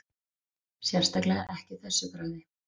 Sérstaklega ekki þessu bragði